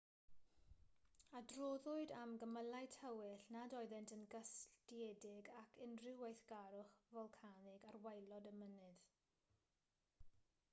adroddwyd am gymylau tywyll nad oeddent yn gysylltiedig ag unrhyw weithgarwch folcanig ar waelod y mynydd